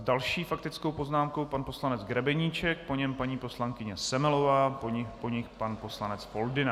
S další faktickou poznámkou pan poslanec Grebeníček, po něm paní poslankyně Semelová, po nich pan poslanec Foldyna.